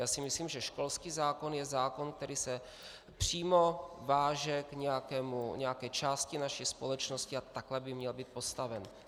Já si myslím, že školský zákon je zákon, který se přímo váže k nějaké části naší společnosti, a takhle by měl být postaven.